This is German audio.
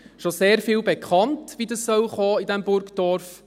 es war schon sehr vieles davon bekannt, wie es kommen soll in diesem Burgdorf.